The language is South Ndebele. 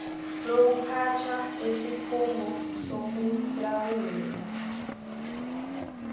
lokuphathwa kwesikhungo sokulawulwa